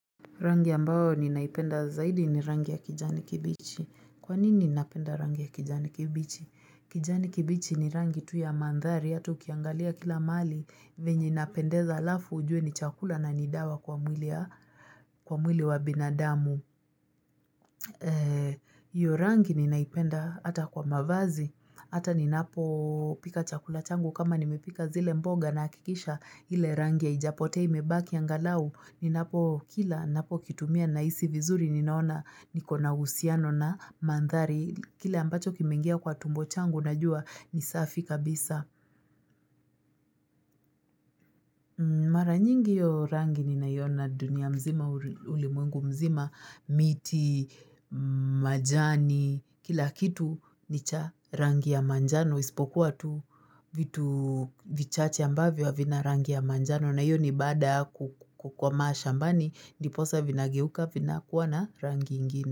Rangi ambayo ninaipenda zaidi ni rangi ya kijani kibichi. Kwa nini napenda rangi ya kijani kibichi? Kijani kibichi ni rangi tu ya mandhari, hatua ukiangalia kila mahali, venye inapendeza alafu ujue ni chakula na ni dawa kwa mwili wa binadamu. Hio rangi ninaipenda hata kwa mavazi, hata ninapo pika chakula changu kama nimepika zile mboga nahakikisha ile rangi haijapotea imebaki angalau, ni napo kila napo kitumia nahisi vizuri ninaona ni kona uhusiano na mandhari Kile ambacho kimeingia kwa tumbo changu najua ni safi kabisa Mara nyingi io rangi ni naiona dunia mzima ulimwengu mzima miti, majani, kila kitu ni cha rangi ya manjano Ispokuwa tu vitu vichache ambavyo havina rangi ya manjano na iyo ni bada kukwama shambani, ndiposa vinageuka, vinakuwa na rangi ingine.